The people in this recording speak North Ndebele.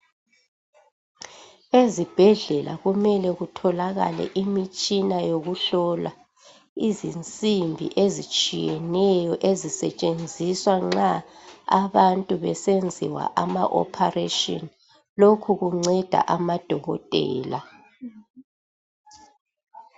Ezibhedlela kumele kutholakale imitshina yokuhlola, izinsimbi ezitshiyeneyo zisetshenziswa nxa abantu besenziwa ama ophareshini. Lokhu kunceda amaDokotela